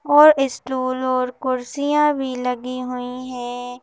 और स्टूल और कुर्सियां भी लगी हुई हैं।